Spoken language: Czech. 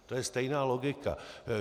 To je stejná logika.